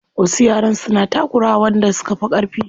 Wasu yaran suna takura wa wanda suka fi ƙarfi.